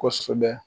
Kosɛbɛ